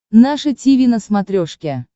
наше тиви на смотрешке